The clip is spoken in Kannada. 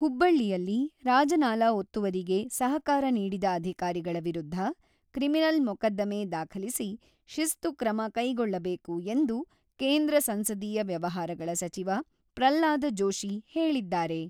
ಹುಬ್ಬಳ್ಳಿಯಲ್ಲಿ ರಾಜನಾಲಾ ಒತ್ತುವರಿಗೆ ಸಹಕಾರ ನೀಡಿದ ಅಧಿಕಾರಿಗಳ ವಿರುದ್ಧ ಕ್ರಿಮಿನಲ್ ಮೊಕದ್ದಮೆ ದಾಖಲಿಸಿ, ಶಿಸ್ತು ಕ್ರಮ ಕೈಗೊಳ್ಳಬೇಕು ಎಂದು ಕೇಂದ್ರ ಸಂಸದೀಯ ವ್ಯವಹಾರಗಳ ಸಚಿವ ಪ್ರಹ್ಲಾದ ಜೋಶಿ ಹೇಳಿದ್ದಾರೆ.